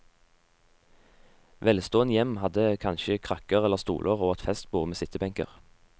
Velstående hjem hadde kanskje krakker eller stoler og et festbord med sittebenker.